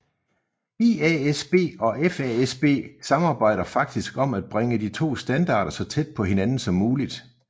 IASB og FASB samarbejder faktisk om at bringe de to standarder så tæt på hinanden som muligt